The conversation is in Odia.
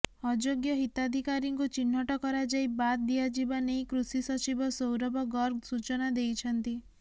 ଅଯୋଗ୍ୟ ହିତାଧିକାରୀଙ୍କୁ ଚିହ୍ନଟ କରାଯାଇ ବାଦ ଦିଆଯିବା ନେଇ କୃଷି ସଚିବ ସୌରଭ ଗର୍ଗ ସୂଚନା ଦେଇଛନ୍ତି